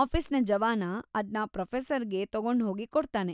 ಆಫೀಸ್ನ ಜವಾನ ಅದ್ನ ಪ್ರೊಫೆಸರ್‌ಗೆ ತಗೊಂಡ್ಹೋಗಿ ಕೊಡ್ತಾನೆ.